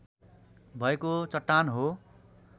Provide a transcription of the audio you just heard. भएको चट्टान हो।